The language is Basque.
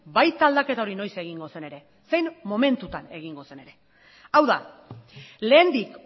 baita aldaketa hori noiz egingo zen ere zein momentutan egingo zen ere hau da lehendik